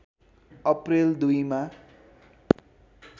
April २ मा